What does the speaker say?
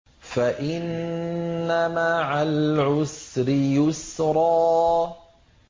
فَإِنَّ مَعَ الْعُسْرِ يُسْرًا